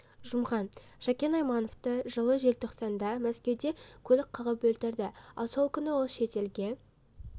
жұмған шәкен аймановты жылы желтоқсанда мәскеуде көлік қағып өлтірді ал сол күні ол шет елге